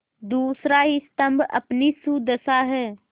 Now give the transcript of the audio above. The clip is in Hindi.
दूसरा स्तम्भ अपनी सुदशा है